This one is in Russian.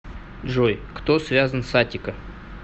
джой кто связан с аттика